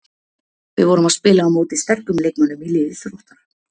Við vorum að spila á móti sterkum leikmönnum í liði Þróttar.